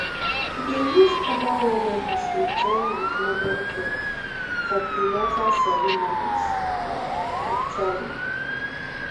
to dey use herbal remedies dey join with modern care for prenatal ceremonies um actually